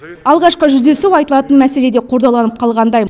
алғашқы жүздесу айтылатын мәселе де қордаланып қалғандай